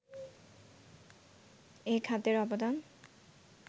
এ খাতের অবদান